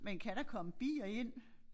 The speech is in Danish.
Men kan der komme bier ind?